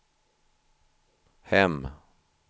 hem